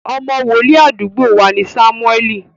Ọmọ wòlíì àdúgbò wa ni Sámúẹ́ẹ̀lì